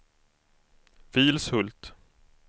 Vilshult